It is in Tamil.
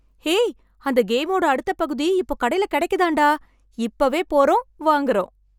ஹேய்! அந்த கேமோட அடுத்தப் பகுதி இப்போ கடைல கிடைக்குதாம் டா. இப்போவே போறோம், வாங்குறோம்.